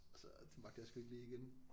Så det magter jeg sgu ikke lige igen